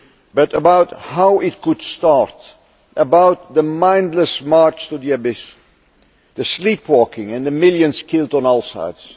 but about how it could start, about the mindless march to the abyss, the sleepwalking, and the millions killed on all sides.